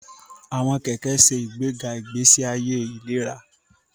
Àwọn kẹkẹ ṣe ìgbéga ìgbésí ayé ìlera